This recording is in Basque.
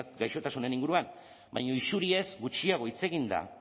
gaixotasunen inguruan baina isuriez gutxiago hitz egin da